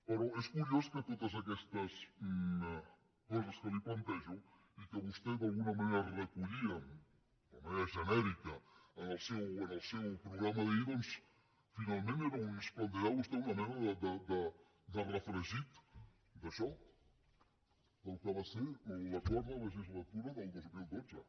però és curiós que totes aquestes coses que li plantejo i que vostè d’alguna manera recollia de manera genèrica en el seu programa d’ahir doncs finalment ens plantejava vostè una mena de refregit d’això del que va ser l’acord de legislatura del dos mil dotze